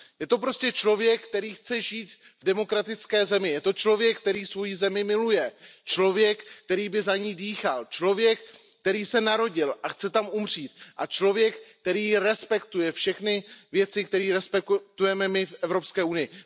Je to prostě člověk, který chce žít v demokratické zemi, je to člověk, který svoji zemi miluje, člověk, který by za ni dýchal, člověk, který se tam narodil a chce tam i zemřít, a člověk, který respektuje všechny věci, které respektujeme my v Evropské unii.